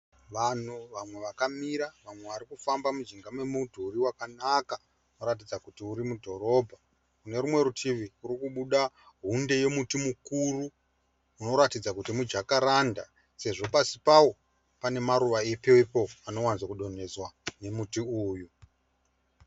Vanhu, vamwe vakamira vamwe vari kufamba mujinga memudhuri wakanaka, unoratidza kuti uri mudhorobha. Kune rumwe rutivi kuri kubuda hunde yemuti mukuru unoratidza kuti mujakaranda sezvo pasi pawo pane maruva epepo anowanzo kudonhedzwa nemuti uyu.